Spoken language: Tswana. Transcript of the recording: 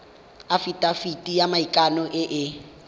afitafiti ya maikano e e